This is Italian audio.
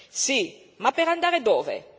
Sì, ma per andare dove?